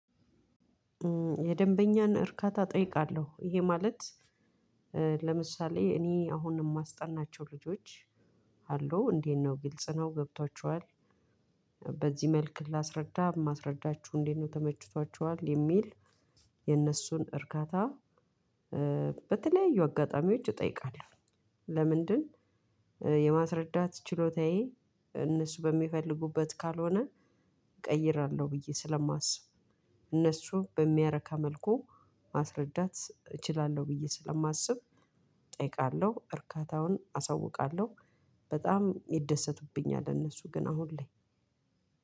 የደንበኛን እርካታ እጠይቃለሁ። ይሄ ማለት ለምሳሌ እኔ አሁንም የማስጠናቸው ልጆች አሉ እንዴት ነው ግልጽ ነው ገብቷችኋል? በዚህ መልኩ ላስረዳ የማስረዳችሁ እንዴት ነው ተመችቷችኋል? የሚል የነሱን እርካታ በተለያዩ አጋጣሚዎች እጠይቃለሁ። ለምንድን? የማስረዳት ችሎታዬ እነሱ በሚፈልጉበት ካልሆነ እቀይራለሁ። ብዬ ስለማስብ እነሱ በሚያረካ መልኩ ማስረዳት እችላለሁ ብዬ ስለማስብ እጠይቃለሁ እርካታውን አሳውቃለሁ። በጣም ይደሰቱብኛል እነሱ ግን አሁን ላይ